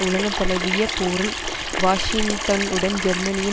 உலகந்தழுவிய போரில் வாஷிங்டனுடன் ஜெர்மனியின்